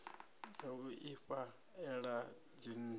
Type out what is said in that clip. ya u ifha ela dzinnḓu